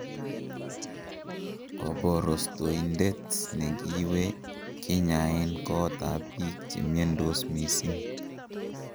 Koborostoindet negiiwee kinyaeeen koot ab biik chemiondos mising'.